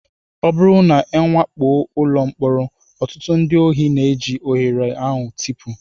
Ọ bụrụ na a wakpo ụlọ mkpọrọ, ọtụtụ ndị ohi na-eji ohere a tipụ